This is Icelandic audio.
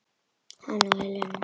Hann og Helena.